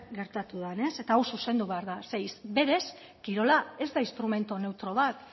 gertatu den ez eta hau zuzendu behar da ze berez kirola ez da instrumento neutro bat